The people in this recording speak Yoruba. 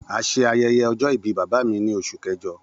A ṣe ayẹyẹ ọjọ-ibi baba mi ni Oṣu Kẹjọ.